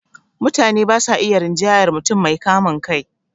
Mutane ba sa iya rinjayar mutum mai kamun kai